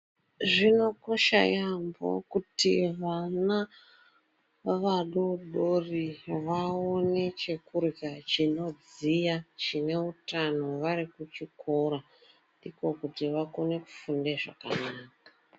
Zvinokosha yaambo kuti vana vadori dori vaone chekurya chinodziya chine utano vari kuchikora, ndiko kuti vakone kufunde zvakanaka.